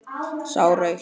Sá rautt.